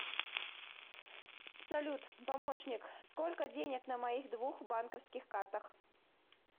салют помощник сколько денег на моих двух банковских картах